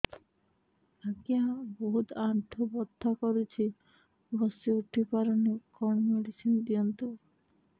ଆଜ୍ଞା ବହୁତ ଆଣ୍ଠୁ ବଥା କରୁଛି ବସି ଉଠି ପାରୁନି କଣ ମେଡ଼ିସିନ ଦିଅନ୍ତୁ